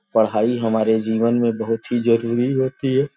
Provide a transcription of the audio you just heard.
पढ़ाई हमारे जीवन में बहुत ही जरूरी होती है।